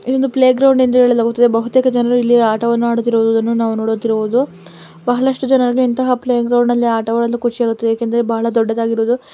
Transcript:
ಈ ಒಂದು playground ಎಂದು ಹೇಳಲಾಗುತ್ತದೆ ಬಹುತೇಕ ಜನರು ಆಟವನ್ನು ಆಟವಾಡುತ್ತಿರುವುದು ನಾವು ನೋಡಬಹುದು ಬಹಳ ಅಷ್ಟು ಜನ ಇಂತಹ ಪ್ಲೇ ಗ್ರೌಂಡ್ ಅಲ್ಲಿ ಆಟವಾಡಲು ಕುಶಿ ಆಗುತ್ತೆ ಏಕೆಂದ್ರೆ ಬಹಳ ದೊಡದಾಗಿ ಇರುವುದು.